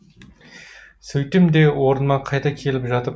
сөйттім де орныма қайта келіп жатып